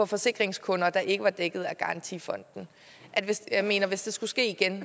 forsikringskunder der ikke var dækket af garantifonden jeg mener hvis det skulle ske igen